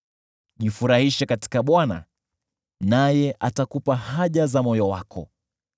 Jifurahishe katika Bwana naye atakupa haja za moyo wako.